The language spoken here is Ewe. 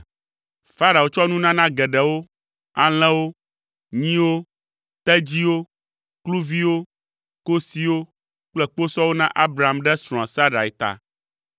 Farao tsɔ nunana geɖewo, alẽwo, nyiwo, tedziwo, kluviwo, kosiwo kple kposɔwo na Abram ɖe srɔ̃a Sarai ta.